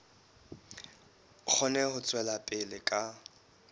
kgone ho tswela pele ka